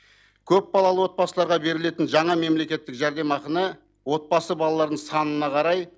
көпбалалы отбасыларға берілетін жаңа мемлекеттік жәрдемақыны отбасы балалардың санына қарай